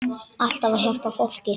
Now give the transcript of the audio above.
Alltaf að hjálpa fólki.